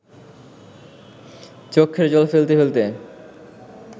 চক্ষের জল ফেলতে ফেলতে